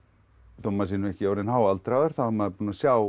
þó maður sé ekki orðinn háaldraður þá er maður búinn að sjá